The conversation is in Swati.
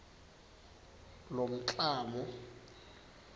lomklamo